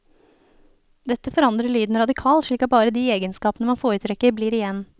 Dette forandrer lyden radikalt slik at bare de egenskapene man foretrekker blir igjen.